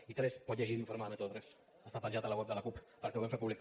i quatre pot llegir l’informe de método tres està penjat a la web de la cup perquè ho vam fer públic